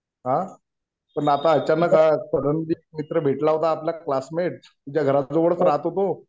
आ पण आता अचानक सडनली मित्र भेटला होता आपला क्लासमेट. तुमच्या घराजवळच राहतो तो.